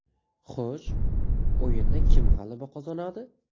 Xo‘sh, o‘yinda kim g‘alaba qozonadi?